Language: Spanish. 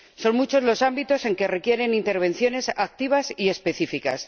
Son muchos los ámbitos en que se requieren intervenciones activas y específicas.